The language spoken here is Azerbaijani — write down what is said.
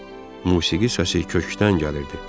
Musiqi səsi kökdən gəlirdi.